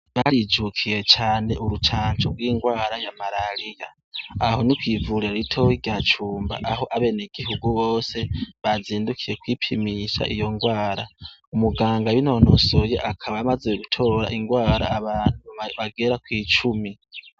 Barijukiye cane urucanco gw' ingwara ya marariya aho ni kwivuriro ritoya rya Cumba aho abenegihugu bose bazindukiye kwipimisha iyo ngwara umuganga yinonosoye akaba amaze gutora ingwara abantu bagera kwi cumi.